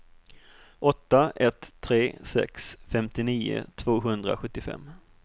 åtta ett tre sex femtionio tvåhundrasjuttiofem